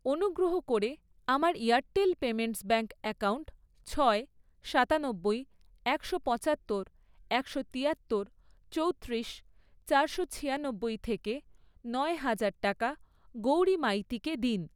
অনুগ্রহ করে আমার এয়ারটেল পেমেন্টস ব্যাঙ্ক অ্যাকাউন্ট ছয়, সাতানব্বই, একশো পঁচাত্তর, একশো তিয়াত্তর, চৌত্রিশ, চারশো ছিয়ানব্বই, থেকে নয় হাজার টাকা গৌরী মাইতিকে দিন।